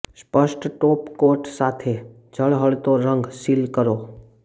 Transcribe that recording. સ્પષ્ટ top coat સાથે ઝળહળતો રંગ સીલ કરો